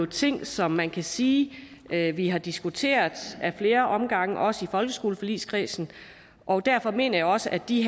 ting som man kan sige at vi har diskuteret ad flere omgange også i folkeskoleforligskredsen og derfor mener jeg også at de